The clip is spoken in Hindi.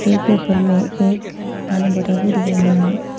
उनके ऊपर में एक पानी बोटल भी दिखाई मिल रहा है।